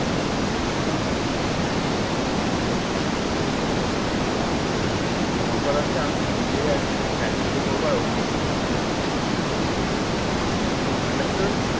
মোট কথা হচ্ছে আমি বিয়ে আর reception একটাতেই করব আর ওখানেই করব। understood?